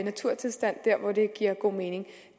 naturtilstand der hvor det giver god mening